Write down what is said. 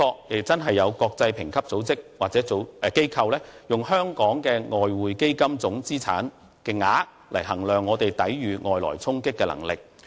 無可否認，有些國際評級機構或組織也的確以香港的外匯基金資產總額來衡量我們抵禦外來衝擊的能力。